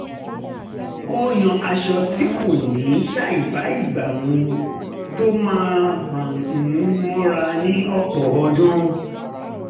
ó yan aṣọ tí kò ní ṣàìbá ìgbà mu tó máa fani mọ́ra ní ọ̀pọ̀ ọdún